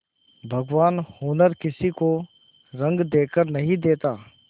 भगवान हुनर किसी को रंग देखकर नहीं देता